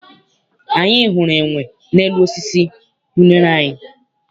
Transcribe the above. Anyị hụrụ enwe n'elu osisi unere anyị.